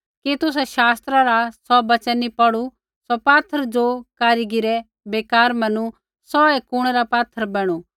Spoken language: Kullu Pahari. कि तुसै शास्त्रा रा सौ वचन नी पौढ़ू सौ पात्थर ज़ो कारीगिरै बेकार मैनू सौऐ कुणै रा पात्थर बैणू